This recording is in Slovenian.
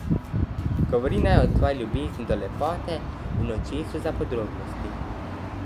Govori naj o tvoji ljubezni do lepote in očesu za podrobnosti.